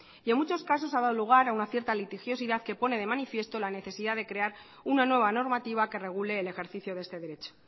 en muchos casos ha dado lugar a una cierta litigiosidad que pone de manifiesto la necesidad de crear una nueva normativa que regule el ejercicio de este derecho